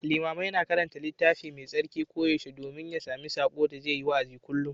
Limamai na karanta Littafi Mai Tsarki koyaushe domin ya sami saƙo da zai yi wa'azi kullum.